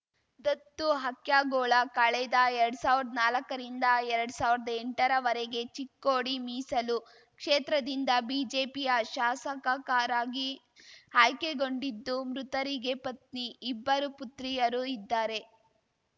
ದತ್ತು ಹಕ್ಯಾಗೋಳ ಕಳೆದ ಎರಡ್ ಸಾವ್ರ್ದಾ ನಾಲಕ್ಕರಿಂದ ಎರಡ್ ಸಾವ್ರ್ದಾ ಎಂಟರವರೆಗೆ ಚಿಕ್ಕೋಡಿ ಮೀಸಲು ಕ್ಷೇತ್ರದಿಂದ ಬಿಜೆಪಿಯ ಶಾಸಕಕರಾಗಿ ಆಯ್ಕೆಗೊಂಡಿದ್ದು ಮೃತರಿಗೆ ಪತ್ನಿ ಇಬ್ಬರು ಪುತ್ರಿಯರು ಇದ್ದಾರೆ